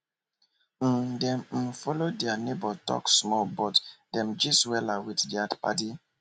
um dem um follow their neighbor talk small but dem gist wella with their paddy